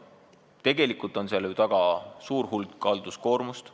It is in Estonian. Tegelikult on seal taga ju suur hulk halduskoormust.